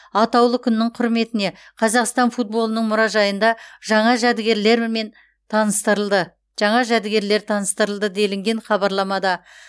атаулы күннің құрметіне қазақстан футболының мұражайында жаңа жәдігерлер мен таныстырылды жаңа жәдігерлер таныстырылды делінген хабарламада